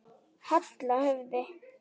Halla höfði.